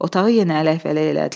Otağı yenə ələkvələk elədilər.